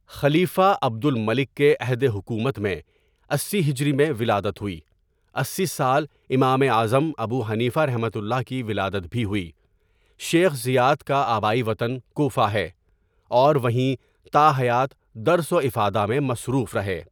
خلیفہ عبدالملک کےعہدِحکومت میں اسی ہجری میں ولادت ہوئی اسی سال امام اعظم ابو حنیفہؒ کی ولادت بھی ہوئی، شیخ زیات کاآبائی وطن کوفہ ہے اور وہیں تاحیات درس وافادہ میں مصروف رہے.